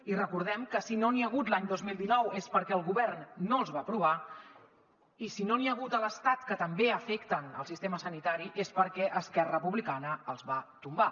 i recordem que si no n’hi ha hagut l’any dos mil dinou és perquè el govern no els va aprovar i si no n’hi ha hagut a l’estat que també afecten el sistema sanitari és perquè esquerra republicana els va tombar